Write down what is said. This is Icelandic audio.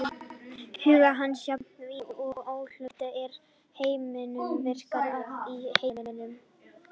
Hugur hans, jafnt ímyndunarafl og óhlutbundin hugsun, er virkt afl í heiminum.